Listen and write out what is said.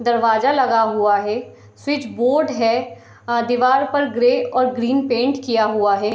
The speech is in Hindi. दरवाजा लगा हुआ है स्विच बोर्ड है और दीवार पर ग्रे और ग्रीन पेंट किया हुआ है।